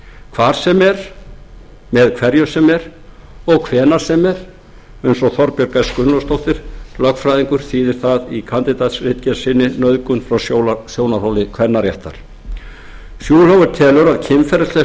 hvar sem er með hverjum sem er og hvenær sem er eins og þorbjörg s gunnlaugsdóttir lögfræðingur þýðir það í kandídatsritgerð sinni nauðgun frá sjónarhóli kvennaréttar schulhofer telur að